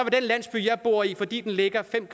den landsby jeg bor i fordi den ligger fem